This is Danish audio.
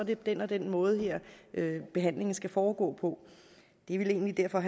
det den og den måde her behandlingen skal foregå på det er vel egentlig derfor